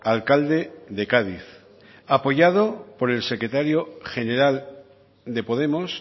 alcalde de cádiz apoyado por el secretario general de podemos